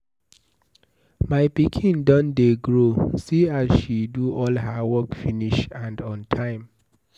My pikin don dey grow see as she do all her work finish and on time.